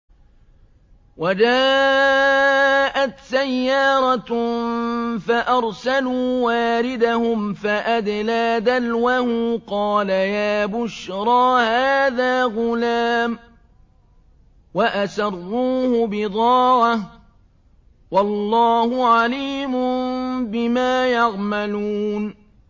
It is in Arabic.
وَجَاءَتْ سَيَّارَةٌ فَأَرْسَلُوا وَارِدَهُمْ فَأَدْلَىٰ دَلْوَهُ ۖ قَالَ يَا بُشْرَىٰ هَٰذَا غُلَامٌ ۚ وَأَسَرُّوهُ بِضَاعَةً ۚ وَاللَّهُ عَلِيمٌ بِمَا يَعْمَلُونَ